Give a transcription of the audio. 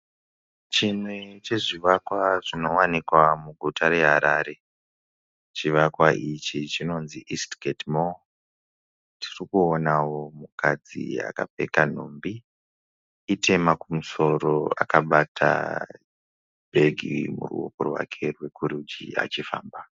Chimwe chezvivakwa zvinowanikwa muguta reHarare. Chivakwa ichi chinonzi "East Gate Mall". Tiri kuonawo mukadzi akapfeka nhumbi. Itema kumusoro akabata bhegi muruoko rwake rwokurudyi achifamba.